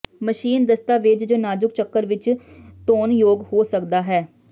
machine ਦਸਤਾਵੇਜ਼ ਜ ਨਾਜ਼ੁਕ ਚੱਕਰ ਵਿੱਚ ਧੋਣਯੋਗ ਹੋ ਸਕਦਾ ਹੈ